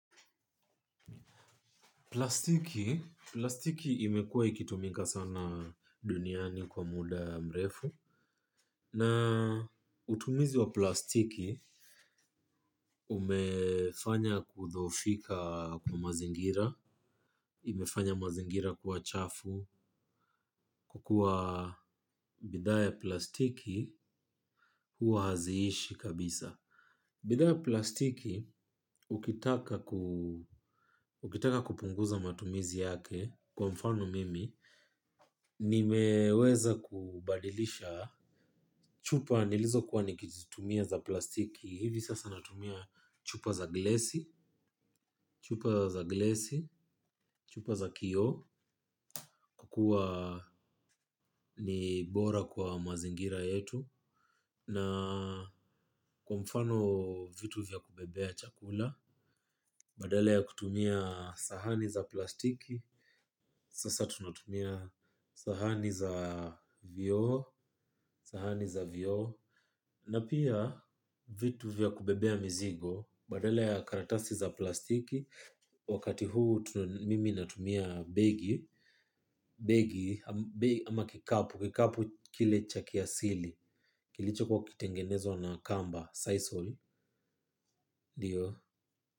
Plastiki plastiki imekuwa ikitumika sana duniani kwa muda mrefu. Na utumizi wa plastiki umefanya kudhoofika kwa mazingira. Imefanya mazingira kuwa chafu, kukua bidhaa ya plastiki huwa haziishi kabisa. Bidhaa ya plastiki, ukitaka kupunguza matumizi yake kwa mfano mimi nimeweza kubadilisha chupa nilizokuwa nikizitumia za plastiki. Hivi sasa natumia chupa za glesi. Chupa za glesi. Chupa za kioo. Kwa kuwa ni bora kwa mazingira yetu. Na kwa mfano vitu vya kubebea chakula. Badala ya kutumia sahani za plastiki sasa tunatumia sahani za vioo. Sahani za vioo. Na pia vitu vya kubebea mizigo badala ya karatasi za plastiki. Wakati huu mimi natumia begi. Begi ama kikapu. Kikapu kile cha kiasili kilichokuwa kikitengenezwa na kamba Sisal ndio.